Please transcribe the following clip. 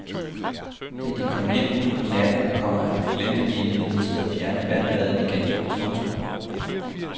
Da de kom hjem ud på natten, komma glemte de imidlertid at fjerne vandbadet igen. punktum